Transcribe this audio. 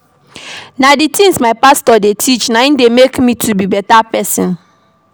Na di tins wey my pastor dey teach dey challenge me to be beta pesin.